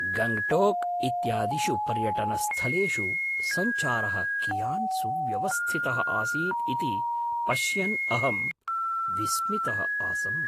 गङ्ग्टोक् इत्यादिषु पर्यटनस्थलेषु सञ्चारः कियान् सुव्यवस्थितः आसीत् इति पश्यन् अहं विस्मितः आसम्।